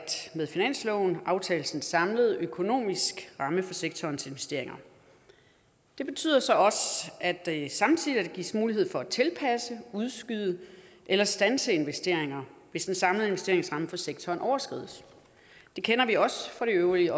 med finansloven aftales en samlet økonomisk ramme for sektorens investeringer det betyder så også at der samtidig gives mulighed for at tilpasse udskyde eller standse investeringer hvis den samlede investeringsramme for sektoren overskrides det kender vi også fra det øvrige